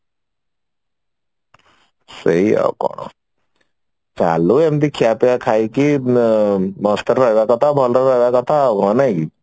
ସେଇ ଆଉ କଣ ଚାଲୁ ଏମିତି ଖିଆପିଆ ଖାଇକି ମସ୍ତ ରହିବା କଥା ଭଲ ରହିବ କଥା ଆଉ କଣ ନାଇଁ କି